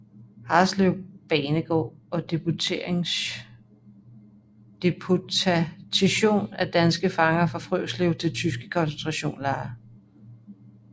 Harreslev banegård og deportationen af danske fanger fra Frøslev til tyske koncentrationslejre